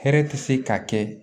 Hɛrɛ tɛ se ka kɛ